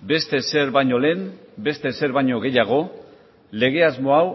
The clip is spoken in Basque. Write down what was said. beste ezer baino lehen beste ezer baino gehiago lege asmo hau